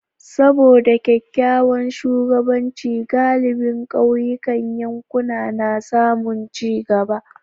Saboda kyakkyawan shugabanci, galibin kauyukan yankina na samun ci gaba.